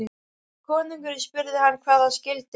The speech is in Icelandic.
Konungurinn spurði hann hvað það skyldi.